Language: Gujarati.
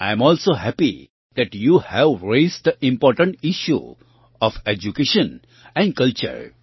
I am also happy that you have raised the important issues of education and culture